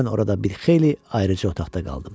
Mən orada bir xeyli ayrıc otaqda qaldım.